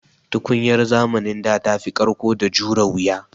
Tukunyar zamanin da tafi ƙarƙo da jure wuya.